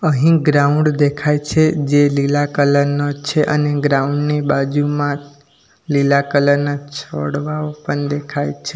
અહીં ગ્રાઉન્ડ દેખાય છે જે લીલા કલર નુ છે અને ગ્રાઉન્ડ ની બાજુમાં લીલા કલર ના છોડવાઓ પણ દેખાય છે.